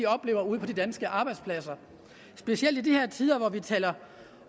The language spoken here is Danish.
oplever ude på de danske arbejdspladser specielt i de her tider hvor vi taler